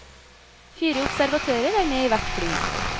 Fire observatører er med i hvert fly.